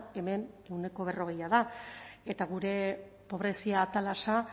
hemen ehuneko berrogeia da eta gure pobrezia atalasa